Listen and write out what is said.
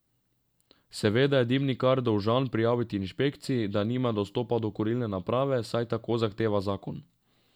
Seveda je dimnikar dolžan prijaviti inšpekciji, da nima dostopa do kurilne naprave, saj tako zahteva zakon.